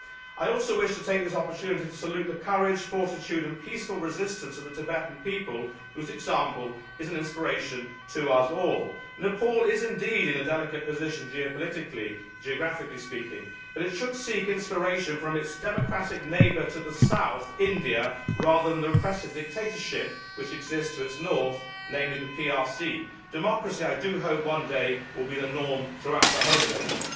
I also wish to take this opportunity to salute the courage, fortitude and peaceful resistance of the Tibetan people whose example is an inspiration to us all. Nepal is indeed in a delicate position, geopolitically and geographically speaking, but it should seek inspiration from its democratic neighbour to the south, India, rather than from the repressive dictatorship which exists to its north, namely the PRC. Democracy will, I hope, one day be the norm throughout the whole of Asia.